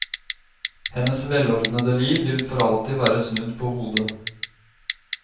Hennes velordnede liv vil for alltid være snudd på hodet.